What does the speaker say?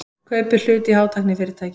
Kaupir hlut í hátæknifyrirtæki